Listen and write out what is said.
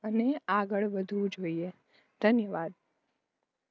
અને આગળ વધવું જોઈએ